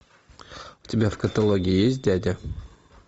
у тебя в каталоге есть дядя